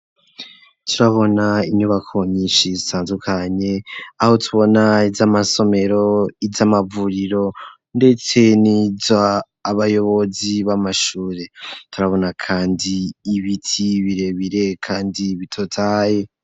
Turabona inyubako nyishi zitandukanye aho tubona izamasomero, izamavuriro ndetse niza abayobozi bamashure turabona kandi ibiti birebire kandi bitotaye.